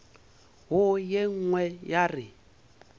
wo ye nngwe ya re